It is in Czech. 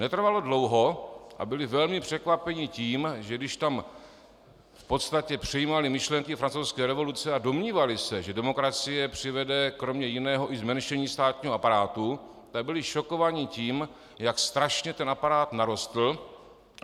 Netrvalo dlouho a byli velmi překvapeni tím, že když tam v podstatě přijímali myšlenky Francouzské revoluce a domnívali se, že demokracie přivede kromě jiného i zmenšení státního aparátu, tak byli šokováni tím, jak strašně ten aparát narostl.